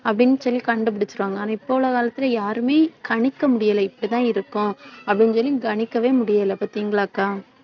அப்படின்னு சொல்லி கண்டுபிடிச்சிருவாங்க. ஆனா இப்ப உள்ள காலத்திலே யாருமே கணிக்க முடியலை இப்படித்தான் இருக்கும் அப்படின்னு சொல்லி கணிக்கவே முடியலை பாத்தீங்களா அக்கா